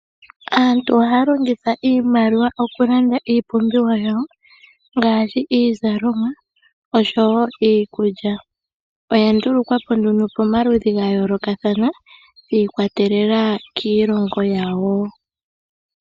Aantu ohaya longitha iimaliwa oku landa iipumbiwa yawo ngaashi iizalomwa osho woo iikulya . Oya ndulukwapo nduno pomaludhi ga yoolokathana shiikwatelela kiilongo yawo.